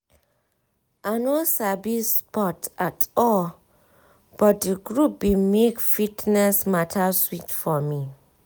i no sabi sports at all but di group bin make fitness mata sweet for me